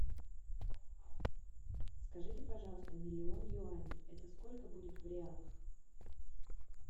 скажите пожалуйста миллион юаней это сколько будет в реалах